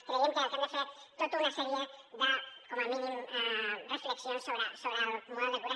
creiem que hem de fer tota una sèrie de com a mínim reflexions sobre el model de cures